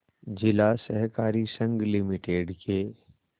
जिला सहकारी संघ लिमिटेड के